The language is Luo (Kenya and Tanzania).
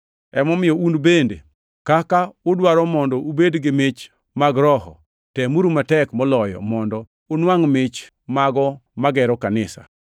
Emomiyo un bende kaka udwaro mondo ubed gi mich mag Roho, temuru matek moloyo mondo unwangʼ mich mago magero kanisa.